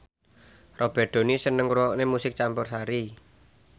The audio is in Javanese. Robert Downey seneng ngrungokne musik campursari